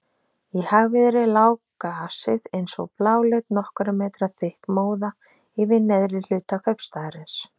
Í hægviðri lá gasið eins og bláleit nokkurra metra þykk móða yfir neðri hluta kaupstaðarins.